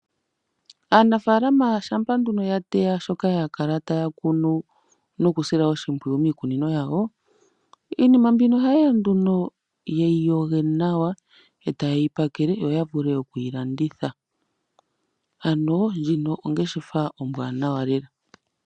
Aanafaalama shampa nduno yateya shoka ya kala taya kunu nokusila oshimpwuyu miikunino yawo, iinima mbino oha yeya nduno ye yi yoge nawa, eta yeyi pakele yo yavule okuyilanditha, ano ndjino ongeshefa ombwaanawa lela.